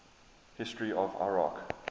history of iraq